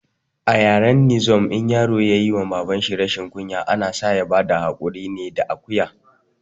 A yaren ninzom in yaro yayi wa baban shi rashin kunya, ana sa ya bada haƙuri ne da akuya